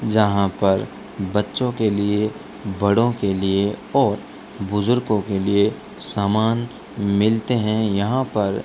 जहां पर बच्चों के लिए बड़ों के लिए और बुजुर्गों के लिए सामान मिलते हैं यहां पर --